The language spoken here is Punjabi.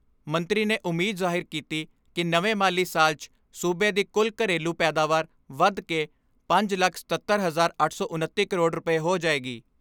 ਮੰਤਰੀ ਨੇ ਉਮੀਦ ਜ਼ਾਹਿਰ ਕੀਤੀ ਕਿ ਨਵੇਂ ਮਾਲੀ ਸਾਲ 'ਚ ਸੂਬੇ ਦੀ ਕੁੱਲ ਘਰੇਲੂ ਪੈਦਾਵਾਰ ਵਧ ਕੇ ਪੰਜ ਲੱਖ ਸਤੱਤਰ, ਅੱਠ ਸੌ ਉਨੱਤੀ ਕਰੋੜ ਰੁਪਏ ਹੋ ਜਾਏਗੀ।